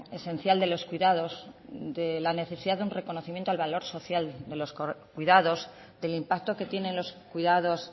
esencial de los cuidados de la necesidad de un reconocimiento al valor social de los cuidados del impacto que tienen los cuidados